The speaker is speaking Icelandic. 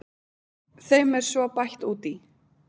Þeim er svo bætt út í.